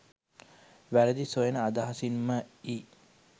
වැරදි සොයන අදහසින් ම යි.